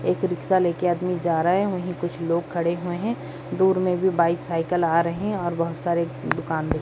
एक रिक्शा ले के आदमी जा रहे है वहीं कुछ लोग खड़े हुए है दूर मे भी बाइक साइकिल आ रहे है और बहुत सारे दुकान दि --